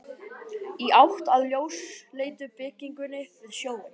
Í átt að ljósleitu byggingunni við sjóinn.